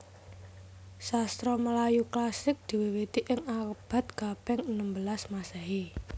Sastra Melayu klasik diwiwiti ing abad kaping enem belas Masehi